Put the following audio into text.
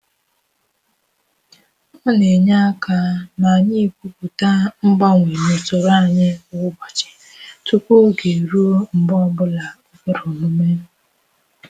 Ọ na-enye aka ma anyị ekwupụta mgbanwe na usoro anyị kwa ụbọchị tupu oge eruo mgbe ọ bụla o kwere omume.